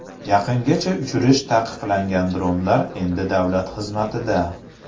Yaqingacha uchirish taqiqlangan dronlar endi davlat xizmatida.